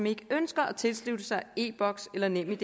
ikke ønsker at tilslutte sig e boks eller nemid